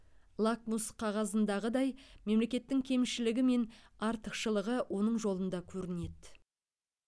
лакмус қағазындағыдай мемлекеттің кемшілігі мен артықшылығы оның жолында көрінеді